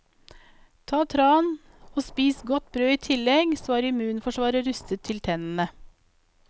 Ta tran og spis godt brød i tillegg, så er immunforsvaret rustet til tennene.